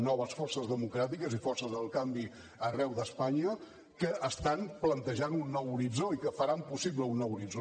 noves forces democràtiques i forces del canvi arreu d’espanya que estan plantejant un nou horitzó i que faran possible un nou horitzó